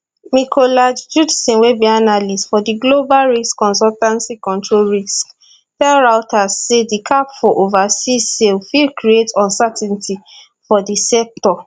mikolaj judson wey be analyst for global risk consultancy control risks tell reuters say di cap for overseas sales fit create uncertainty for di sector